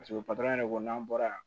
Paseke yɛrɛ ko n'an bɔra yan